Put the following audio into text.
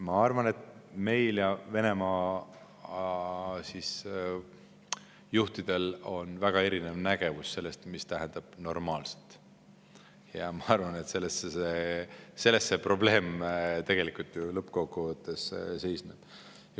Ma arvan, et meil ja Venemaa juhtidel on väga erinev arusaam sellest, mida tähendab normaalselt, ja ma arvan, et selles ju tegelikult lõppkokkuvõttes probleem seisnebki.